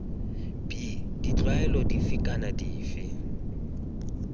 b ditlwaelo dife kana dife